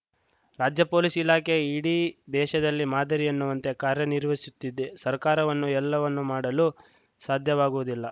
ರಾಜ್ಯ ಪೊಲೀಸ್‌ ಇಲಾಖೆ ಇಡೀ ದೇಶದಲ್ಲಿ ಮಾದರಿ ಎನ್ನುವಂತೆ ಕಾರ್ಯನಿರ್ವಹಿಸುತ್ತಿದೆ ಸರ್ಕಾರವನ್ನು ಎಲ್ಲವನ್ನೂ ಮಾಡಲು ಸಾಧ್ಯವಾಗುವುದಿಲ್ಲ